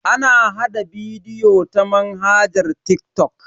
Ana hada bidiyo ta manhajar TikTok.